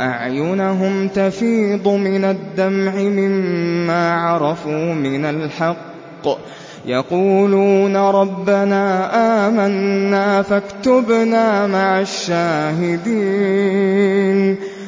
أَعْيُنَهُمْ تَفِيضُ مِنَ الدَّمْعِ مِمَّا عَرَفُوا مِنَ الْحَقِّ ۖ يَقُولُونَ رَبَّنَا آمَنَّا فَاكْتُبْنَا مَعَ الشَّاهِدِينَ